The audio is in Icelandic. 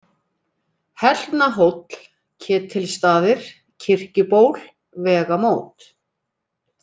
Hellnahóll, Ketilstaðir, Kirkjuból, Vegamót